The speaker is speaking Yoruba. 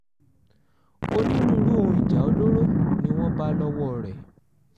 onírúurú ohun ìjà olóró ni wọ́n bá lọ́wọ́ rẹ̀